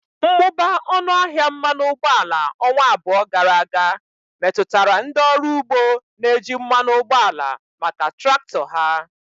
Mmụba ọnụ ahịa mmanụ ụgbọala ọnwa abụọ gara aga metụtara ndị ọrụ ugbo na-eji mmanụ ụgbọala maka traktọ ha.